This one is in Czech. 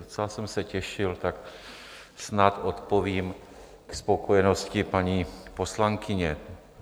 Docela jsem se těšil, tak snad odpovím ke spokojenosti paní poslankyně.